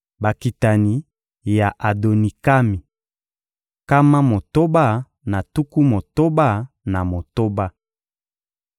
Bakitani ya Adonikami: nkama motoba na tuku motoba na motoba.